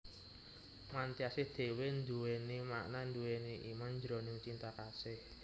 Mantyasih dhéwé nduwèni makna nduwèni iman jroning Cinta Kasih